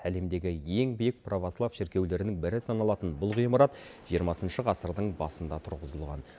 әлемдегі ең биік православ шіркеулерінің бірі саналатын бұл ғимарат жиырмасыншы ғасырдың басында тұрғызылған